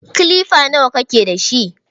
Kilifa nawa kake dashi?